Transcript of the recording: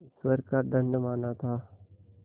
ईश्वर का दंड माना था